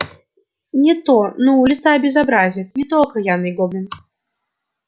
не то ну лиса безобразит не то окаянный гоблин